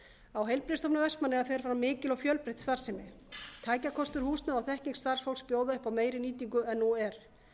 á heilbrigðisstofnun vestmannaeyja fer fram mikil og fjölbreytt starfsemi tækjakostur húsnæði og þekking starfsfólks bjóða upp á meiri nýtingu en nú er